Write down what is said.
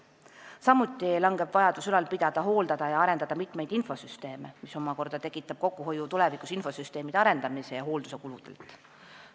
Samuti väheneb vajadus ülal pidada, hooldada ja arendada mitmeid infosüsteeme, mis omakorda tekitab tulevikus kokkuhoiu infosüsteemide arendamise ja hoolduse kuludelt.